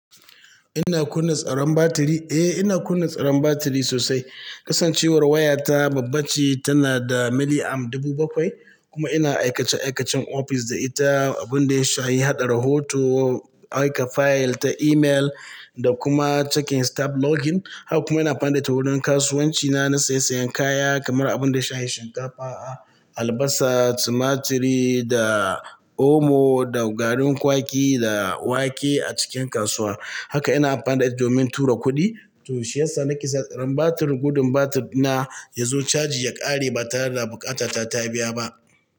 Ina kunna tsaran batiri eh ina kunna tsaran batiri sosai kasancewar waya ta babba ce tana da mili am dubu bakwai kuma ina aikace-aikacen ofis da ita, abun da ya shayi haɗa rahoto, aika fayil ta email da kuma checking staff login. Haka kuma ina amfanta da wurin kasuwanci na, na saye-sayan kaya kamar abun da ya shayi shinkafa, a albasa, tumaturi da omo da garin kwaki da wake a cikin kasuwa. Haka ina amfanta da domin tura kuɗi. To shi yasa nake tsaron batir, gudun batir na ya zo caji ya ƙare ba tare da buƙata ta taɓiya ba.